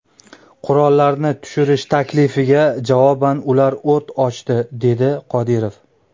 Qurollarni tushirish taklifiga javoban ular o‘t ochdi”, dedi Qodirov.